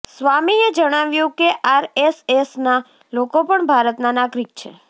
સ્વામીએ જણાવ્યુ કે આરએસએસના લોકો પણ ભારતના નાગરિક છે